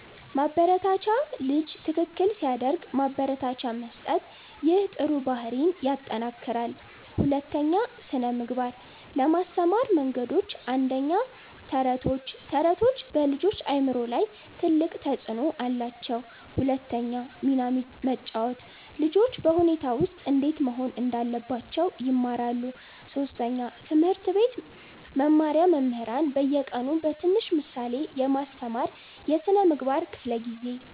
ማበረታቻ ልጅ ትክክል ሲያደርግ ማበረታቻ መስጠት ይህ ጥሩ ባህሪን ይጠናክራል 2) ስነ ምግባር ለማስተማር መንገዶች 1. ተረቶች ተረቶች በልጆች አእምሮ ላይ ትልቅ ተፅዕኖ አላቸው 2 ሚና መጫወት ልጆች በሁኔታ ውስጥ እንዴት መሆን እንዳለባቸው ይማራሉ 3. ትምህርት ቤት መመሪያ መምህራን በየቀኑ በትንሽ ምሳሌ ማስተማር የስነ ምግባር ክፍለ ጊዜ